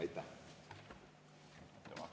Aitäh!